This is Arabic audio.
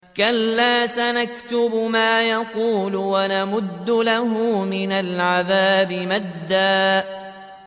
كَلَّا ۚ سَنَكْتُبُ مَا يَقُولُ وَنَمُدُّ لَهُ مِنَ الْعَذَابِ مَدًّا